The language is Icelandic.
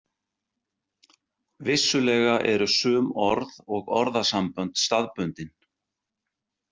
Vissulega eru sum orð og orðasambönd staðbundin.